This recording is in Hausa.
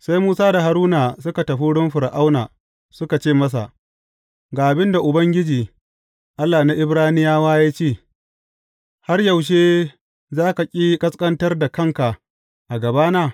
Sai Musa da Haruna suka tafi wurin Fir’auna suka ce masa, Ga abin da Ubangiji, Allah na Ibraniyawa ya ce, Har yaushe za ka ƙi ƙasƙantar da kanka a gabana?